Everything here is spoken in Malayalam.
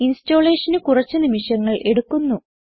installationന് കുറച്ച് നിമിഷങ്ങൾ എടുക്കുന്നു